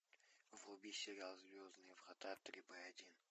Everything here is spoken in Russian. вруби сериал звездные врата три б один